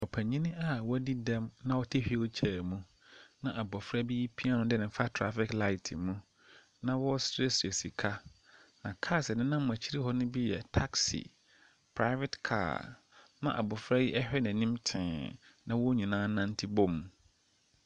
Ɔpanin a wadi dɛm na ɔte hwiil kyɛɛ mu na abɔfra bii pia no de no fa trafek laet mu na ɔɔsrɛsrɛ sika. Na kaas a ɛnenam akyiri hɔ no bi yɛ taksi, praevet kaa ma abɔfra yi ɛhwɛ n'anim tee na wɔnyinaa nante bom.